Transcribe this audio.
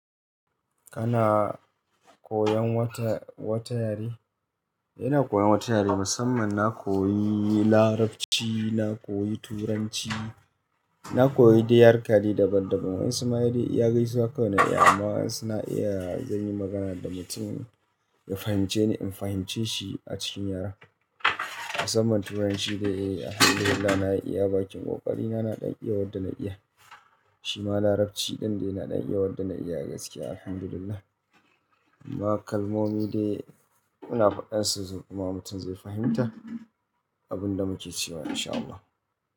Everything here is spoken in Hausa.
Kana koyan wata, wata yare? Ina koyan wata yare, musamman na koyi Larabci, na koyi Turanci, na koyi da yarda kaɗai daban daban. Wan Isma'ili ya gaisuwa kawai na iya amma wasu na iya zan yi magana da mutum ya fahimce ni, in fahimce shi a cikin yaren. Asaman Turanci dai alhamdulillah na iya, bakin ƙoƙari na, na ɗan iya waɗanda na iya. Shi ma Larabci ɗan dai na ɗan iya waɗanda na iya gaskiya alhamdulillah. Amma kalmomi dai ina faɗan su zai kuma mutum zai fahimta abin da muke cewa in sha Allah.